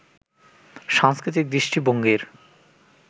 সাংস্কৃতিক দৃষ্টিভঙ্গির